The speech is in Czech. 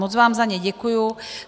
Moc vám za ně děkuji.